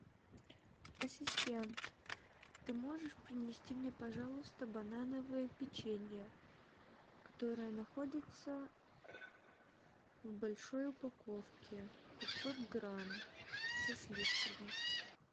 ассистент ты можешь принести мне пожалуйста банановое печенье которое находится в большой упаковке пятьсот грамм со сливками